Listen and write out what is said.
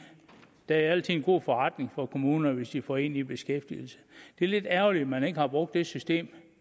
det er altid en god forretning for kommunerne hvis de får en i beskæftigelse det er lidt ærgerligt at man ikke har brugt det system